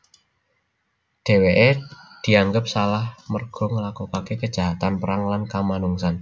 Dheweke dianggep salah merga nglakokake kejahatan perang lan kamanungsan